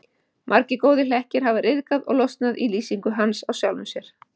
Margir góðir hlekkir hafa ryðgað og losnað í lýsingu hans á sjálfum sér.